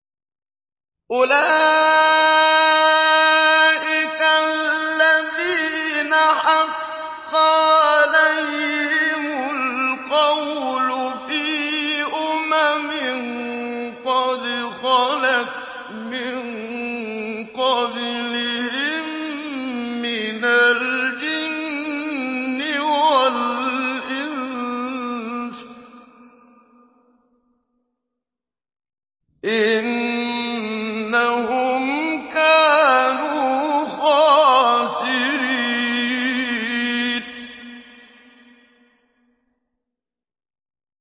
أُولَٰئِكَ الَّذِينَ حَقَّ عَلَيْهِمُ الْقَوْلُ فِي أُمَمٍ قَدْ خَلَتْ مِن قَبْلِهِم مِّنَ الْجِنِّ وَالْإِنسِ ۖ إِنَّهُمْ كَانُوا خَاسِرِينَ